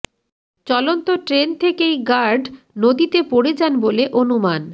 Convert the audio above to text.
চলন্ত ট্রেন থেকেই গার্ড নদীতে পড়ে যান বলে অনুমান